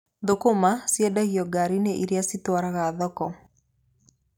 Thũkũma ciendagio ngari-inĩ irĩa citwaraga thoko.